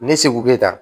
Ne seko be taa